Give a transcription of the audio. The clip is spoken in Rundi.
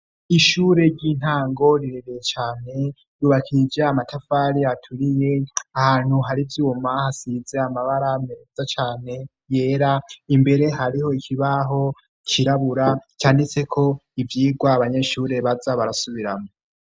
Ishure ry'intango rirebeye Cane rubakije amatafari aturiye ahantu hari vyuma hasize amabara meza cane yera imbere hariho ikibaho kirabura cyanditse ko ivyigwa abanyeshuri baza barasubiramo.